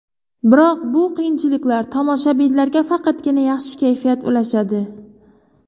Biroq bu qiyinchiliklar tomoshabinlarga faqatgina yaxshi kayfiyat ulashadi.